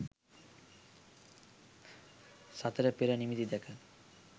සතරපෙර නිමිති දැක